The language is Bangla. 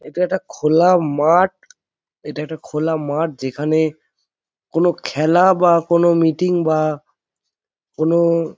এটা একটা খোলা মাঠ |এটা একটা খোলা মাঠ | যেখানে কোনো খেলা বা কোনো মিটিং বা কোনোওওও --